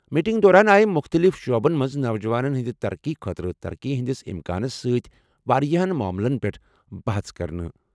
Meeting دوران آیہِ مُختٔلِف شعبَن منٛز نوجوانَن ہٕنٛدِ ترقی خٲطرٕ ترقی ہٕنٛدِس امکانَس سۭتۍ واریٛاہَن معاملَن پٮ۪ٹھ بَحَژ کرنہٕ۔